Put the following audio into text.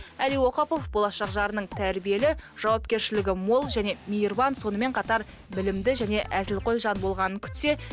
әли оқапов болашақ жарының тәрбиелі жауапкершілігі мол және мейірбан сонымен қатар білімді және әзілқой жан болғанын күтсе